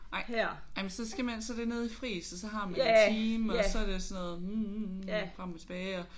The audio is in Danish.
Nej jamen så skal man så er det nede i Friis og så har man en time og så er det sådan noget hm frem og tilbage